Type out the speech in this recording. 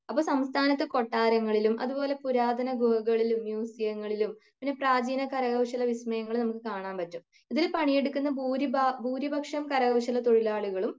അപ്പൊ സംസ്ഥാനത്ത് കൊട്ടാരങ്ങളിലും അതുപോലെ പുരാതന ഗുഹകളിലും മ്യുസിയങ്ങളിലും പിന്നെ പ്രജീന കരകൗശല വിസ്മയങ്ങള് നമ്മുക്ക് കാണാൻ പറ്റും ഇതില് പണിയെടുക്കുന്ന ഭൂരിഭാ ഭൂരിപക്ഷം കരകൗശല തൊഴിലാളികളും